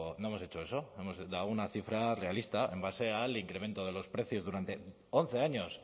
no hemos hecho eso hemos dado una cifra realista en base al incremento de los precios durante once años